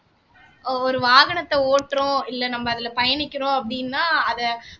ஒரு வாகனத்தை ஓட்டுறோம் இல்ல நம்ம அதுல பயணிக்கிறோம் அப்படின்னா அத